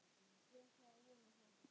Ég ætla að vona það.